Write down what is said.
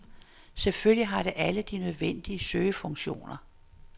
Selvfølgelig har det alle de nødvendige søgefunktioner..